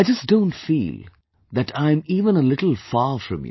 I just don't feel that I am even a little far from you